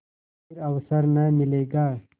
फिर अवसर न मिलेगा